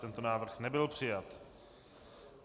Tento návrh nebyl přijat.